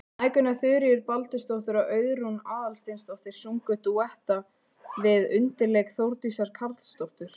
Mæðgurnar Þuríður Baldursdóttir og Auðrún Aðalsteinsdóttir sungu dúetta við undirleik Þórdísar Karlsdóttur.